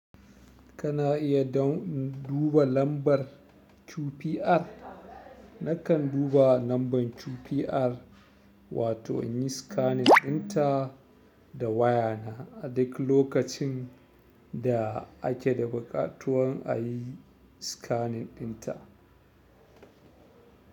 Kana iya don duba lambar CPR. Nakan duba lambar CPR wato in yi scanning ɗinta da waya na a duk lokacin da ake da buƙatuwan a yi scanning ɗinta.